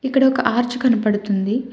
ఇక్కడ ఒక ఆర్చ్ కనబడుతుంది.